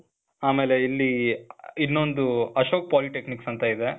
ಆಮೇಲೆ ಇಲ್ಲೀ, ಇನ್ನೊಂದು ಅಶೋಕ್ polytechnic ಅಂತ ಇದೆ.